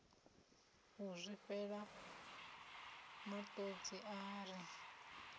u zwifhela matodzi a ri